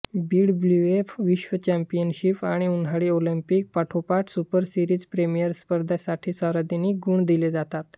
BWF विश्व championship आणि उन्हाळी ऑलिंपिक पाठोपाठ सुपर सिरीज प्रीमियर स्पर्धांसाठी सर्वाधिक गुण दिले जातात